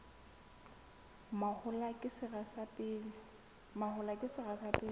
mahola ke sera sa pele